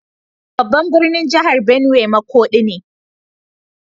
Babban birnin jihar Benue makodi ne.